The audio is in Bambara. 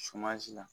Sumansi la